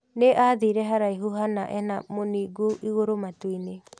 Nĩ aathire haraihu hana ena mũningũ igũrũ matuu-inĩ.